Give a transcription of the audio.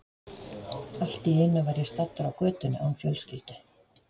Allt í einu var ég staddur á götunni án fjölskyldu.